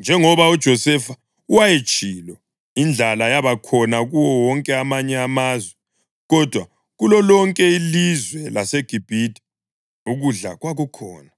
njengoba uJosefa wayetshilo. Indlala yaba khona kuwo wonke amanye amazwe, kodwa kulolonke ilizwe laseGibhithe ukudla kwakukhona.